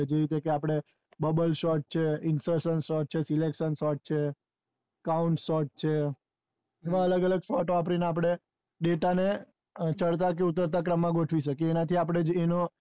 જેવી રીતે આપડે bubble sort છે infraction sort છે selection sort છે count sort છે એવા અલગ અલગ sort વાપરી ને આપડે data ને ચડતા કે ઉતરતા ક્રમ માં ગોઠવી સકિયે એના થી આપડે જે